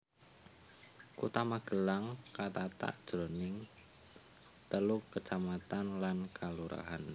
Kutha Magelang katata jroning telu kacamatan lan kalurahan